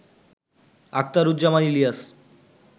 Akhtaruzzaman Ilias